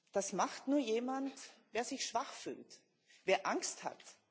Das macht nur jemand, der sich schwach fühlt, der Angst hat.